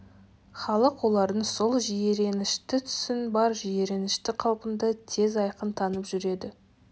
халық олардың сол жиіренішті түсін бар жиіренішті қалпында тез айқын танып жүреді